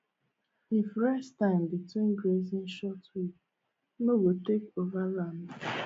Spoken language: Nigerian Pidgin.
if rest time between grazing short weed no go take over land